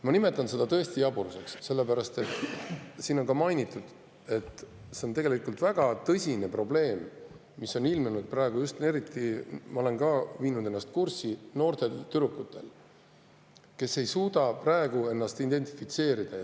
Ma tõesti nimetan seda jaburuseks, nagu siin on ka mainitud, sellepärast et tegelikult on väga tõsine probleem ilmnenud praegu, just eriti – ma olen viinud ennast kurssi – noortel tüdrukutel, kes ei suuda ennast identifitseerida.